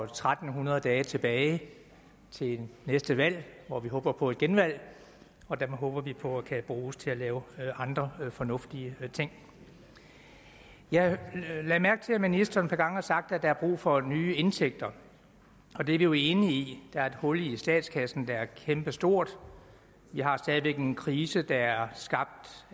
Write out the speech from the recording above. tre hundrede dage tilbage til næste valg hvor vi håber på et genvalg og det håber vi på kan bruges til at lave andre fornuftige ting jeg lagde mærke til at ministeren et par gange har sagt at der er brug for nye indtægter og det er vi jo enige i der er et hul i statskassen der er kæmpestort vi har stadig væk en krise der er skabt